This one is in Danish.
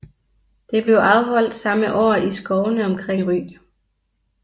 Det blev afholdt samme år i skovene omkring Ry